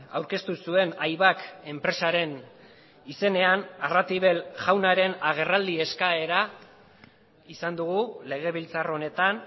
aurkeztu zuen aibak enpresaren izenean arratibel jaunaren agerraldi eskaera izan dugu legebiltzar honetan